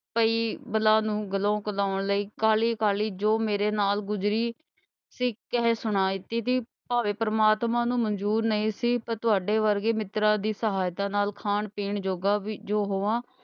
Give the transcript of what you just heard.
ਪਈ ਬਲਾ ਨੂੰ ਦਿਲੋਂ ਲਾਹੁਣ ਲਈ ਕਾਹਲ਼ੀ ਕਾਹਲ਼ੀ ਜੋ ਮੇਰੇ ਨਾਲ ਗੁਜ਼ਰੀ ਸੀ, ਕਹਿ ਸੁਣਾ ਦਿੱਤੀ ਕਿ ਭਾਵੇਂ ਪਰਮਾਤਮਾ ਨੂੰ ਮਨਜ਼ੂਰ ਨਈਂ ਪਰ ਤੁਹਾਡੇ ਵਰਗੇ ਮਿੱਤਰਾਂ ਦੀ ਸਹਾਇਤਾ ਨਾਲ ਖਾਣ ਪੀਣ ਜੋਗਾ ਵੀ ਜੋ ਹੋਵਾਂ।